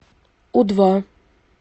у два